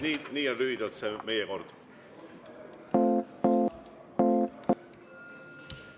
Nii on lühidalt see meie kord.